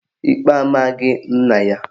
Ikpe amaghị nna ya